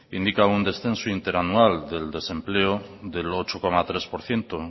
indica un descenso interanual del desempleo del ocho coma tres por ciento